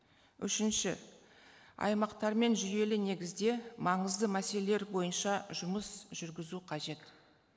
үшінші аймақтармен жүйелі негізде маңызды мәселелер бойынша жұмыс жүргізу қажет